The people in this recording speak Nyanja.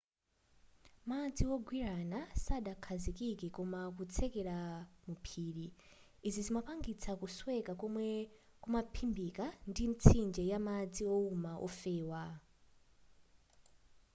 madzi wogwirana sadakhazikike koma kutsetseleka mu phiri izi zimapangitsa kusweka komwe kumaphimbika ndi mitsinje yamadzi wouma wofewa